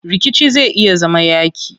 Rikici zai iya zama yaaƙi.